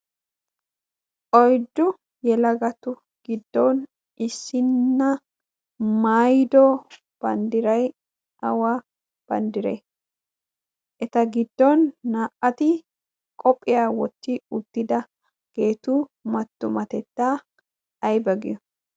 oyddu yelagatu giddon issina maayido banddiray awa banddirtee? eta giddon naa'u qophiya wottidaageetu matumatettaa ayba giyo?